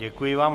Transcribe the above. Děkuji vám.